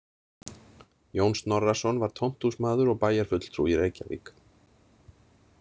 Jón Snorrason var tómthúsmaður og bæjarfulltrúi í Reykjavík.